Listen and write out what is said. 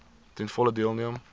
ten volle deelneem